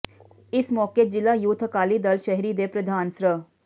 ਇਸ ਮੌਕੇ ਜਿਲ੍ਹਾ ਯੂਥ ਅਕਾਲੀ ਦਲ ਸ਼ਹਿਰੀ ਦੇ ਪ੍ਰਧਾਨ ਸ੍ਰ